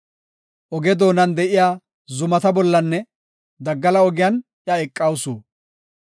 Oge doonan de7iya zumata bollanne daggala ogiyan iya eqawusu.